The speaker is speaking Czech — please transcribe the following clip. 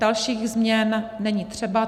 Dalších změn není třeba.